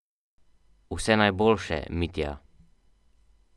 Vse najboljše, Mitja!